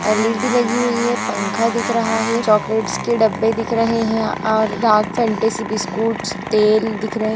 LED. लगी हुई है पंखा दिख रहा है चॉकलेट्स के डब्बे दिख रहे है और डार्क फैंटेसी बिस्कुट्स तेल दिख रहे --